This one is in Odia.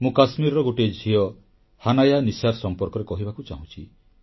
ମୁଁ କାଶ୍ମୀରର ଗୋଟିଏ ଝିଅ ହାନାୟା ନିସାର ସମ୍ପର୍କରେ କହିବାକୁ ଚାହୁଁଛି